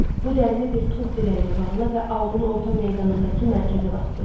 Bu dərini bir tuğ dirəyinə bağla və aulun orta meydanındakı mərkəzə basdır.